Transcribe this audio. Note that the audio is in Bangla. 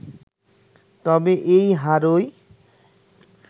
তবে এই হারই